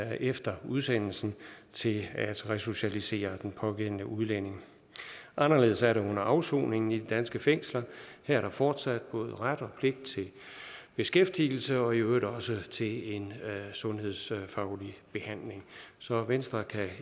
efter udsendelsen til at resocialisere den pågældende udlænding anderledes er det under afsoningen i de danske fængsler her er der fortsat både ret og pligt til beskæftigelse og i øvrigt også til en sundhedsfaglig behandling så venstre kan